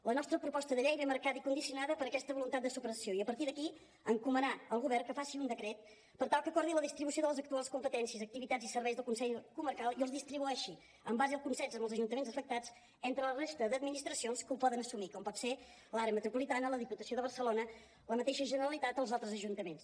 la nostra proposta de llei ve marcada i condicionada per aquesta voluntat de supressió i a partir d’aquí encomanar al govern que faci un decret per tal que acordi la distribució de les actuals competències activitats i serveis del consell comarcal i els distribueixi en base al consens amb els ajuntaments afectats entre la resta d’administracions que ho poden assumir com poden ser l’àrea metropolitana la diputació de barcelona la mateixa generalitat o els altres ajuntaments